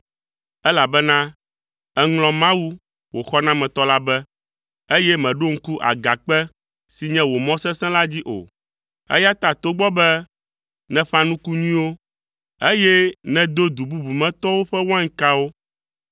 Elabena èŋlɔ Mawu, wò xɔnametɔ la be, eye mèɖo ŋku agakpe si nye wò mɔ sesẽ la dzi o. Eya ta togbɔ be nèƒã nuku nyuiwo, eye nèdo du bubu me tɔwo ƒe wainkawo;